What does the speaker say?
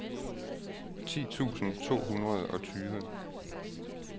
ti tusind to hundrede og tyve